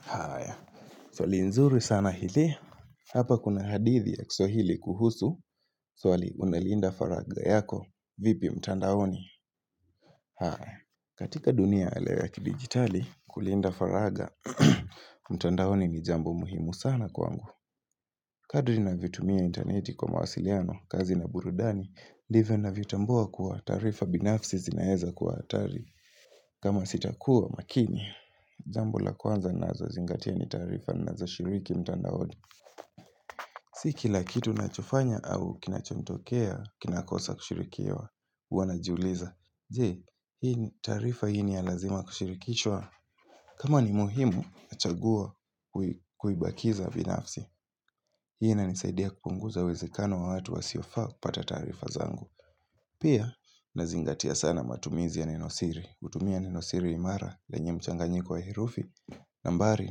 Haya, swali nzuri sana hili, hapa kuna hadithi ya kisohili kuhusu, swali unalinda faraga yako, vipi mtandaoni? Haya, katika dunia alewa yaki digitali, kulinda faraga, mtandaoni ni jambo muhimu sana kwangu. Kadri na vitumia interneti kwa mawasiliano, kazi na burudani, ndivyo na vitambua kuwa tarifa binafsi zinaeza kuwa hatari. Kama sitakua makini, jambo la kwanza nazo zingatia ni tarifa nazo shiriki mtanda hodi Siki la kitu nachofanya au kinachotokea, kinakosa kushirikiwa, huwa najiuliza Je, tarifa hili ya lazima kushirikishwa kama ni muhimu, chagua kuibakiza vinafsi Hii inanisaidia kupunguza uwezekano wa watu wasiofaa kupata tarifa zangu Pia, nazingatia sana matumizi ya nenosiri kutumia nenosiri imara lenye mchanganyi kwa herufi nambari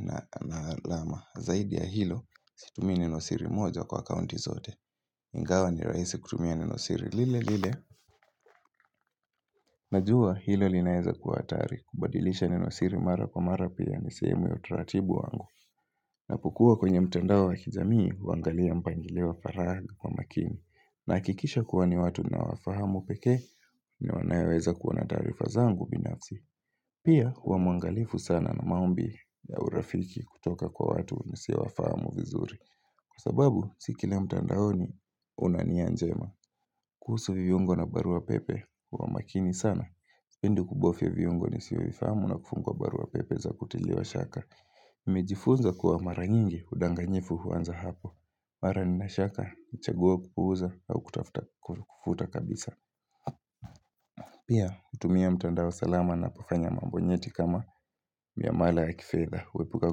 na alama zaidi ya hilo Situmia neno siri moja kwa kaunti zote Ingawa ni raisi kutumia neno siri lile lile Najua hilo linaeza kuwa hatari kubadilisha nenosiri imara kwa mara mara nisehemu ya utaratibu wangu na pukua kwenye mtendao wakijamii Wangalia mpangilewa faragi kwa makini na kikisha kuwani watu na wafahamu peke ni wanayaweza kuwa na taarifa zangu binafsi Pia, huwa mwangalifu sana na maombi ya urafiki kutoka kwa watu nisiowafahamu vizuri. Kwa sababu, si kila mtandaoni, unania njema. Kuhusu viungo na barua pepe, huwa makini sana. Pindu kubofia viyungo nisio vifamu na kufungwa barua pepe za kutiliwa shaka. Nimejifunza kuwa mara nyingi, udanganyifu huanza hapo. Mara nina shaka, chagua kupuuza au kutafuta kufuta kabisa. Pia, kutumia mtandao salama nakufanya mambo nyeti kama miamala ya kifeza. Wepuka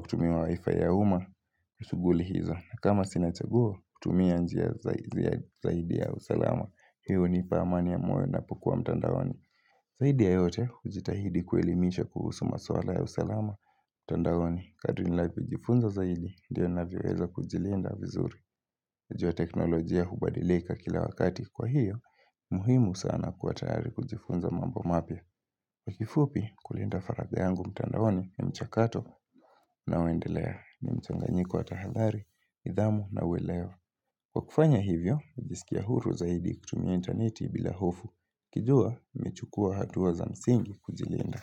kutumia wifi ya uma, usuguli hizo. Na kama sinachaguo, kutumia njia zaidi ya usalama. Hiyo hunipa amania moyo ninapokuwa mtandaoni. Zaidi ya yote, ujitahidi kuelimisha kuhusu maswala ya usalama. Mtandaoni, kadu ninapojifunza zaidi, diyo na viweza kujilinda vizuri. Najua teknolojia hubadilika kila wakati kwa hiyo, muhimu sana kuwa tayari kujifunza mambo mapya. Kwa kifupi kulinda faraja yangu mtandaoni ni mchakato unaoendelea ni mchanganyiko watahadari, nidhamu nauelewa. Kwakufanya hivyo, hujisikia huru zaidi kutumia interneti bila hofu. Kijua, nimechukua hatua za msingi kujilinda.